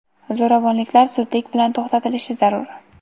zoʼravonliklar zudlik bilan toʼxtatilishi zarur.